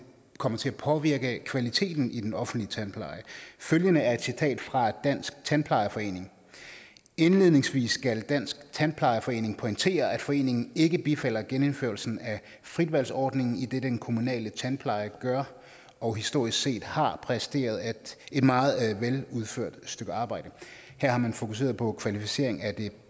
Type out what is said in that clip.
kommer til at påvirke kvaliteten i den offentlige tandpleje følgende er et citat fra dansk tandplejerforening indledningsvis skal dansk tandplejerforening pointere at foreningen ikke bifalder genindførelsen af fritvalgsordningen idet den kommunale tandplejer gør og historisk set har præsteret et meget veludført stykke arbejde her har man fokuseret på kvalificering af det